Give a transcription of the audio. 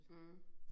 Mh